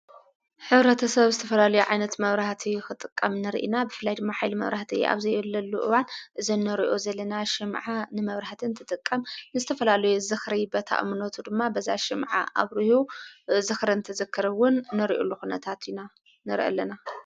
ኅብረተ ሰብ ዝተፈላሉ ዓይነት መብራህቲ ኽጥቀም ንርኢና ብፍላይድ መኃል መብራህተ ኣብዘይየለሉ እዋን ዘነርዑ ዘለና ሽምዓ ንመብርህትን ትጥቀም ንስትፈላሉ ዝኽሪ በታ እምኖቱ ድማ በዛ ሽምዓ ኣብ ርሁ ዝኽርእንተዘክርውን ነርዑ ሉኹነታት ኢና ነርኢ ኣለና።